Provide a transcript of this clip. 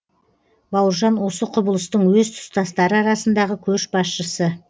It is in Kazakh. бауыржан осы құбылыстың өз тұстастары арасындағы көш басшысы